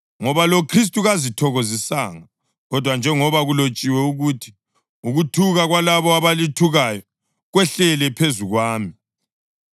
Ngoba loKhristu kazithokozisanga, kodwa njengoba kulotshiwe ukuthi: “Ukuthuka kwalabo abalithukayo kwehlele phezu kwami.” + 15.3 AmaHubo 69.9